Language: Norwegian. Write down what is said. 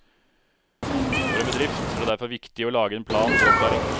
For en bedrift er det derfor viktig å lage en plan for opplæring.